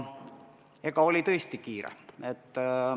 Aga oli tõesti kiire.